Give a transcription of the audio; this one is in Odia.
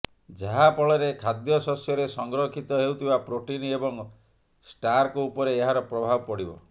ଯାହା ଫଳରେ ଖାଦ୍ୟଶସ୍ୟରେ ସଂରକ୍ଷିତ ହେଉଥିବା ପ୍ରୋଟିନ୍ ଏବଂ ଷ୍ଟାର୍କ ଉପରେ ଏହାର ପ୍ରଭାବ ପଡିବ